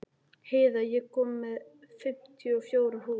Heiða, ég kom með fimmtíu og fjórar húfur!